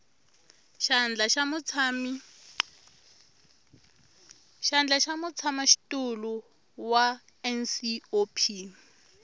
xandla xa mutshamaxitulu wa ncop